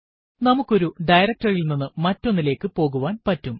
നമുക്ക് ഒരു directory യിൽ നിന്നും മറ്റൊന്നിലേക്കു പോകുവാൻ പറ്റും